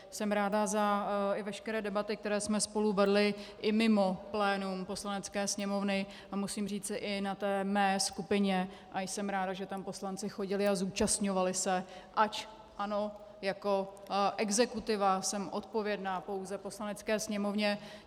Jsem ráda i za veškeré debaty, které jsme spolu vedli i mimo plénum Poslanecké sněmovny a musím říci i na té mé skupině, a jsem ráda, že tam poslanci chodili a zúčastňovali se, ač ano, jako exekutiva jsem odpovědná pouze Poslanecké sněmovně.